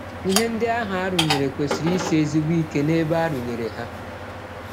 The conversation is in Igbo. Ihe ndị ahụ a rụnyere kwesịrị isi ezigbo ike n’ebe a rụnyere ha.